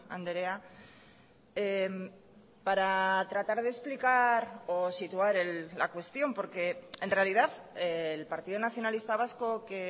andrea para tratar de explicar o situar la cuestión porque en realidad el partido nacionalista vasco que